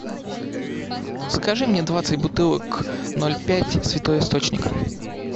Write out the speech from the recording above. закажи мне двадцать бутылок ноль пять святой источник